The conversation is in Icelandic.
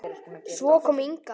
Svo kom Inga.